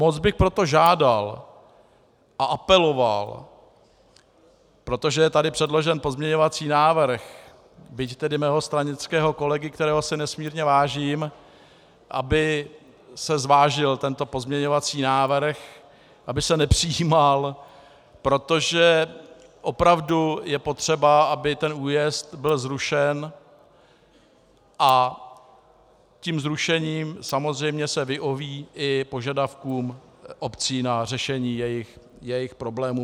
Moc bych proto žádal a apeloval, protože je tady předložen pozměňovací návrh, byť tedy mého stranického kolegy, kterého si nesmírně vážím, aby se zvážil tento pozměňovací návrh, aby se nepřijímal, protože opravdu je potřeba, aby ten újezd byl zrušen, a tím zrušením samozřejmě se vyhoví i požadavkům obcí na řešení jejich problémů.